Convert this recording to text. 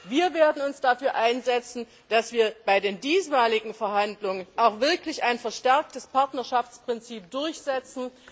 Wir werden uns dafür einsetzen, dass wir bei den diesmaligen Verhandlungen auch wirklich ein verstärktes Partnerschaftsprinzip durchsetzen.